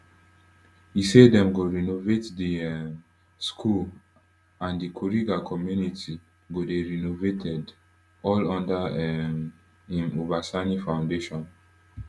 e say dem go renovate di um school and di kuriga community go dey renovated all under um im uba sani foundation